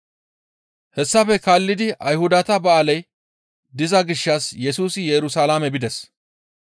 Hessafe kaallidi Ayhudata ba7aaley diza gishshas Yesusi Yerusalaame bides.